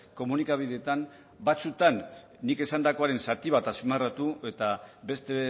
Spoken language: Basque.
komunikabideetan batzuetan nik esandakoaren zati bat azpimarratu eta beste